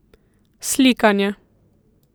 Slikanje.